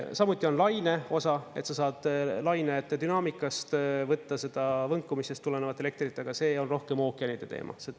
Samuti on laine osa, et sa saad laine dünaamikast võtta seda võnkumisest tulenevat elektrit, aga see on rohkem ookeanide teema.